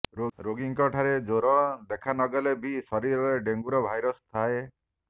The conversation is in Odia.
ରୋଗୀଙ୍କ ଠାରେ ଜ୍ୱର ଦେଖାନଗଲେ ବି ଶରୀରରେ ଡେଙ୍ଗୁର ଭାଇରସ୍ ଥାଏ